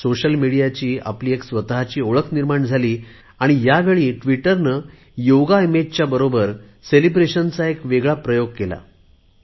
social मिडियाची आपली एक स्वतची ओळख निर्माण झाली आणि ह्यावेळी ट्विटरने योगा इमेजच्या बरोबर सेलिब्रेशनचा एक वेगळा प्रयोग केला गेला